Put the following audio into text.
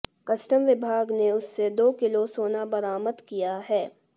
custom विभाग ने उससे दो किलो सोना बरामद किया है